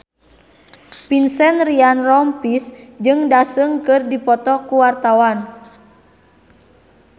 Vincent Ryan Rompies jeung Daesung keur dipoto ku wartawan